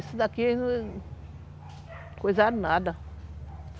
Esse daqui não coisaram nada.